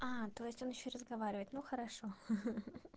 а то есть он ещё разговаривать ну хорошо